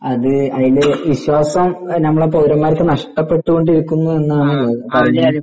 അത് വല്യ വിശ്വാസം ഞമ്മളെ പൗരന്മാർക്ക് നഷ്ടപ്പെട്ടു കൊണ്ടിരിക്കുന്നു എന്നാണ്